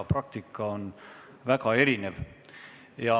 Praktika on väga erinev.